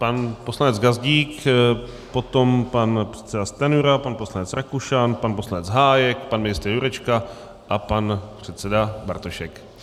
Pan poslanec Gazdík, potom pan předseda Stanjura, pan poslanec Rakušan, pan poslanec Hájek, pan ministr Jurečka a pan předseda Bartošek.